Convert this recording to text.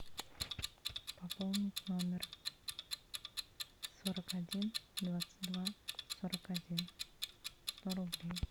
пополнить номер сорок один двадцать два сорок один сто рублей